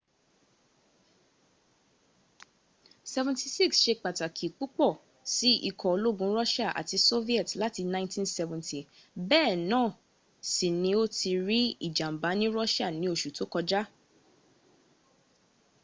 il-76 ṣe pàtàkì púpọ̀ sí ikọ̀ ológun russia àti soviet láti 1970 bẹ́ẹ̀ náà sì ni ó ti rí ìjàǹbá ní russia ní oṣù tó kọjá